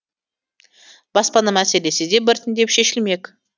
баспана мәселесі де біртіндеп шешілмек